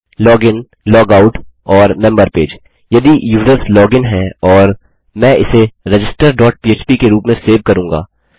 log in log out और member page यदि users log in हैं और मैं इसे रजिस्टर डॉट पह्प के रूप में सेव करूँगा